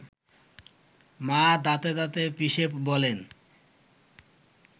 মা দাঁতে দাঁত পিষে বলেন